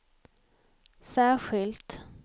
särskilt